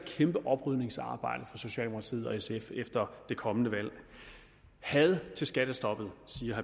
kæmpe oprydningsarbejde for socialdemokratiet og sf efter det kommende valg had til skattestoppet siger